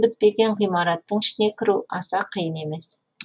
бітпеген ғимараттың ішіне кіру аса қиын емес